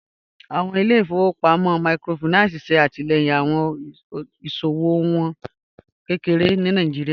Awọn ilẹ̀-ifọ̀wọpamọ míkrófáìnánsì ṣe atilẹ̀yin awọn iṣowo iwọn kẹkẹre ni Nàìjíríà.